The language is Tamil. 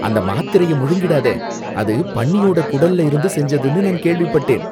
அந்த மாத்திரைய முழுங்கிடாத. அது பன்னியோட குடல்ல இருந்து செஞ்சதுன்னு நான் கேள்விப்பட்டேன்.